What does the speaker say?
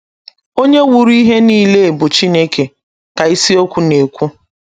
“ Onye wuru ihe nile bụ Chineke, ” ka ịsiokwu na - ekwu.